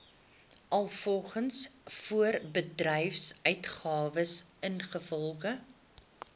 alvorens voorbedryfsuitgawes ingevolge